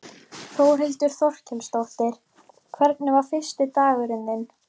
Þórhildur Þorkelsdóttir: Hvernig var fyrsti dagurinn þinn?